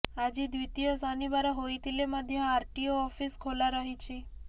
ଆଜି ଦ୍ୱିତୀୟ ଶନିବାର ହୋଇଥିଲେ ମଧ୍ୟ ଆରଟିଓ ଅଫିସ ଖାଲା ରହିଛି